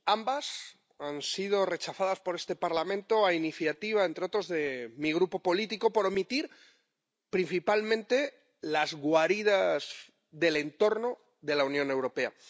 Ambas han sido rechazadas por este Parlamento a iniciativa, entre otros, de mi grupo político, por omitir, principalmente, las guaridas del entorno de la Unión Europea.